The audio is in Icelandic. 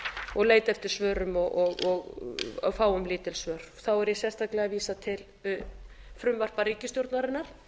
og leita eftir svörum og fáum lítil svör þá er ég sérstaklega að vísa til frumvarpa ríkisstjórnarinnar